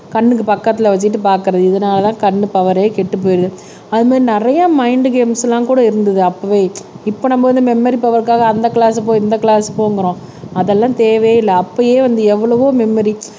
கண்ணுக்கு பக்கத்துல வச்சுட்டுபாக்குறது இதனாலதான் கண்ணு பவரே கெட்டு போயிடுது அது மாதிரி நிறைய மைன்ட் கேம்ஸ் எல்லாம் கூட இருந்தது அப்பவே இப்ப நம்ம வந்து மெமரி பவர்க்காக அந்த கிளாஸ் போ இந்த கிளாஸ் போங்கிறோம் அதெல்லாம் தேவையே இல்ல அப்பயே வந்து எவ்வளவோ மெமரி